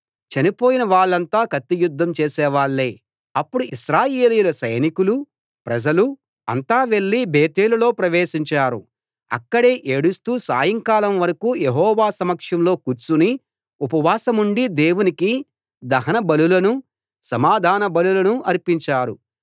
చనిపోయిన వాళ్ళంతా కత్తియుద్ధం చేసేవాళ్ళే అప్పుడు ఇశ్రాయేలీయుల సైనికులూ ప్రజలూ అంతా వెళ్ళి బేతేలులో ప్రవేశించారు అక్కడే ఏడుస్తూ సాయంకాలం వరకూ యెహోవా సమక్షంలో కూర్చుని ఉపవాసముండి దేవునికి దహన బలులనూ సమాధాన బలులనూ అర్పించారు